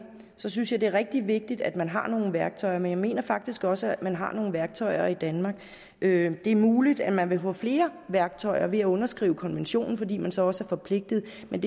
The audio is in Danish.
synes jeg det er rigtig vigtigt at man har nogle værktøjer men jeg mener faktisk også at man har nogle værktøjer i danmark det er muligt at man vil få flere værktøjer ved at underskrive konventionen fordi man så også er forpligtet men